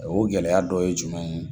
O gɛlɛya dɔ ye jumɛn ye?